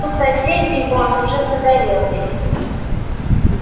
у соседей вон уже загорелось